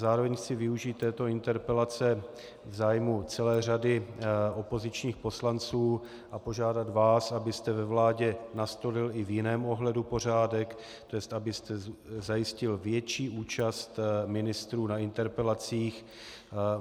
Zároveň chci využít této interpelace v zájmu celé řady opozičních poslanců a požádat vás, abyste ve vládě nastolil i v jiném ohledu pořádek, tj. abyste zajistil větší účast ministrů na interpelacích.